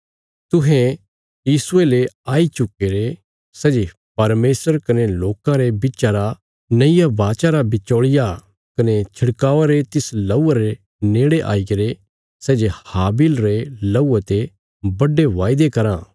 तुहें यीशुये ले आई चुक्कीरे सै जे परमेशर कने लोकां रे बिच्चा रा नईया वाचा रा बिचौल़िया कने छिड़कावा रे तिस लहूये रे नेड़े आईगरे सै जे हाबिल रे लहूये ते बड्डे वायदे कराँ